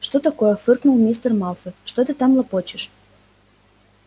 что такое фыркнул мистер малфой что ты там лопочешь